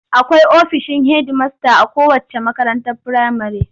Akwai ofishin hedimasta a kowacce makarantar firamare.